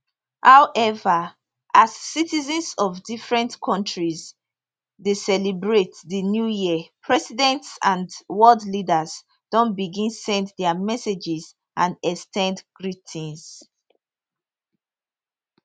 howeva as citizens of different kontris dey celebrate di new year presidents and world leaders don begin send dia messages and ex ten d greetings